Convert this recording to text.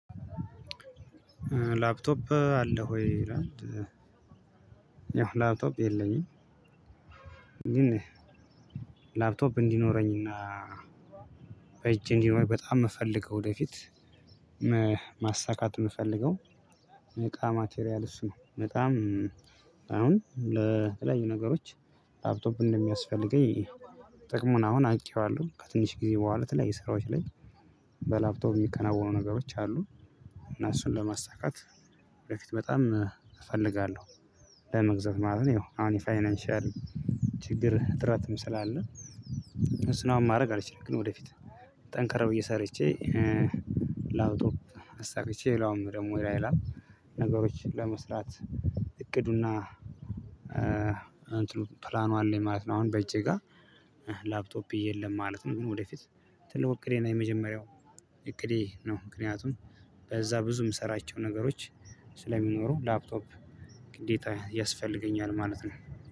ላፕቶፕ አለህ ወይ ይላል? ያው ላፕቶፕ የለኝም። ላፕቶፕ እንዲኖረኝና በእጅ እንዲኖረኝ በጣም የምፈልገው ወደፊት ማሳካት የምፈልገው። በጣም ማቴሪያል እሱ ነው። በጣም አሁን ለተለያዩ ነገሮች ላፕቶፕ እንደሚያስፈልገኝ ጥቅሙን አሁን አውቄዋለሁ። ከትንሽ ጊዜ በኋላ በተለይ ስራዎች ላይ በላፕቶፕ የሚከናወኑ ነገሮች አሉ። እና እሱን ለማሳካት በፊት በጣም እፈልጋለሁ። ለመግዛት ማለት ነው። አሁን የፋይናንሻል ችግር እጥረት ስላለ እሱን አሁን ማድረግ አልችልም። ግን ወደፊት ጠንካር ብዬ ሰርቼ እየሰረችኝ ላፕቶብ አሳክቼ ሌላውም ደግሞ ሌላ ነገሮችን ለመስራት እቅዱና እንትኑ ፕላኑ አለኝ ማለት ነው። አሁን በእጄ ጋር ላፕቶፕ የለም ማለት ነው። ግን ወደፊት ትልቁ እቅዴና የመጀመሪያው እቅዴ ነው። ምክንያቱም በዛ ብዙ የምሰራቸው ነገሮች ስለሚኖሩ ላፕቶፕ ግዴታ ያስፈልገኛል ማለት ነው።